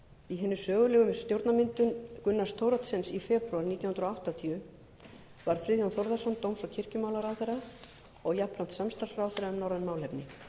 í hinni sögulegu stjórnarmyndun gunnars thoroddsens í febrúar nítján hundruð áttatíu varð friðjón þórðarson dóms og kirkjumálaráðherra og jafnframt samstarfsráðherra um norræn málefni